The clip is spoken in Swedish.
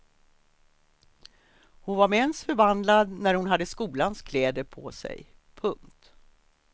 Hon var med ens förvandlad när hon hade skolans kläder på sig. punkt